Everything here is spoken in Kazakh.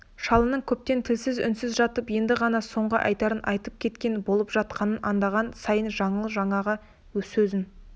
шалының көптен тілсіз үнсіз жатып енді ғана соңғы айтарын айтып кетпек болып жатқанын аңдаған сайын жаңыл жаңағы сөзін